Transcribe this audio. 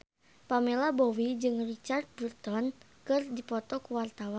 Pamela Bowie jeung Richard Burton keur dipoto ku wartawan